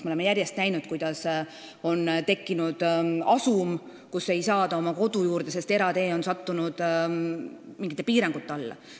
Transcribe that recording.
Me oleme järjest näinud, kuidas on tekkinud asumeid, kus inimesed ei pääse koju, sest eratee on sattunud mingite piirangute alla.